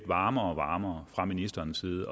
varmere og varmere fra ministerens side